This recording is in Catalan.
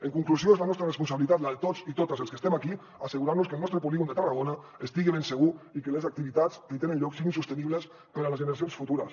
en conclusió és la nostra responsabilitat la de tots i totes els que estem aquí assegurar nos que el nostre polígon de tarragona estigui ben segur i que les activitats que hi tenen lloc siguin sostenibles per a les generacions futures